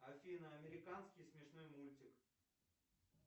афина американский смешной мультик